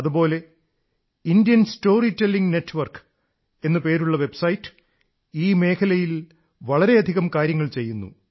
അതുപോലെ Kathalaya the Indian storytelling network എന്നുപേരുള്ള website ഈ മേഖലയിൽ വളരെയധികം കാര്യങ്ങൾ ചെയ്യുന്നു